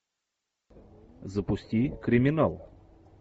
запусти криминал